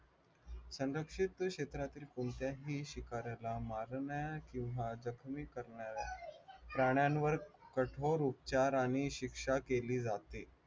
संरक्षित क्षेत्रातील कोणत्याही शिकाऱ्याला मारणाऱ्या किंवा जखमी करणाऱ्या प्राण्यांवर कठोर उपचार आणि शिक्षा केली जाते